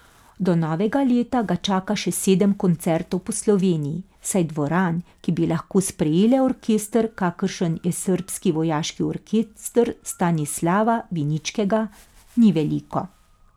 Do novega leta ga čaka še sedem koncertov po Sloveniji, saj dvoran, ki bi lahko sprejele orkester, kakršen je srbski vojaški orkester Stanislava Biničkega, ni veliko.